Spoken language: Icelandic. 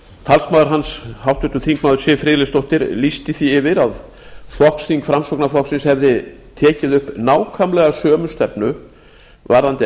talsmaður hans háttvirtur þingmaður siv friðleifsdóttir lýsti því yfir að flokksþing framsóknarflokksins hefði tekið upp nákvæmlega sömu stefnu varðandi